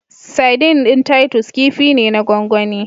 Sardin ɗin Titus kifi ne na cikin gwangwani.